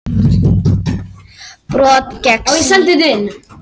Brot gegn siðareglum